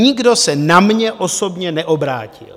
Nikdo se na mě osobně neobrátil.